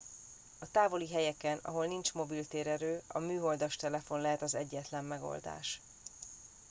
a távoli helyeken ahol nincs mobil térerő a műholdas telefon lehet az egyetlen megoldás